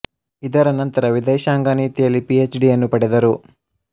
ಇದರ ನಂತರ ವಿದೇಶಾಂಗ ನೀತಿಯಲ್ಲಿ ಪಿ ಹೆಚ್ ಡಿಯನ್ನು ಪಡೆದರು